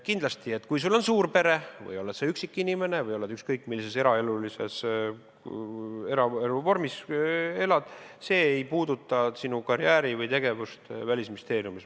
Kindlasti, on sul suur pere või oled sa üksik inimene või elad ükskõik millises eraelulises vormis, see ei puuduta sinu karjääri või tegevust Välisministeeriumis.